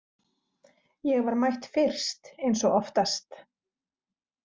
Ég var mætt fyrst eins og oftast.